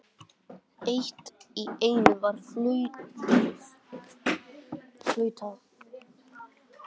Allt í einu var flautað.